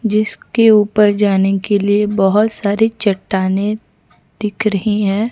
जिसके ऊपर जाने के लिए बहोत सारे चट्टानें दिख रही है।